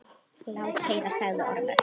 Lát heyra, sagði Ormur.